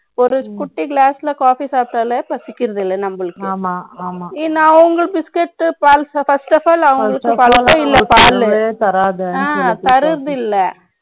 ஒரு, குட்டி glassல, coffe e சாப்பிட்டாலே, பசிக்கிறது இல்ல, நம்மளுக்கு. ஆமா. ஆமா நான் உங்களுக்கு biscuit, first of all அவங்களுக்கு தராது. ஆ, தருதில்ல.